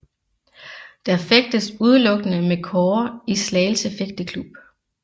Der fægtes udelukkende med kårde i Slagelse Fægteklub